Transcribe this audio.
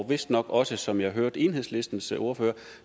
og vist nok også som jeg hørte enhedslistens ordfører